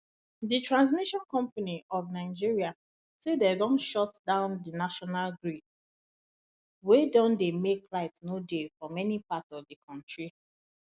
di transmission company of nigeria say dem don shut down di national grid wey don make light no dey for many parts of di kontri